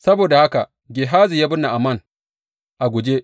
Saboda haka Gehazi ya bi Na’aman a guje.